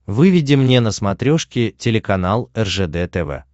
выведи мне на смотрешке телеканал ржд тв